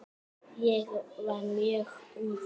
Ég var mjög ungur.